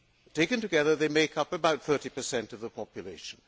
Taken together, they make up about 30 of the population.